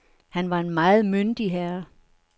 Han var en meget myndig herre.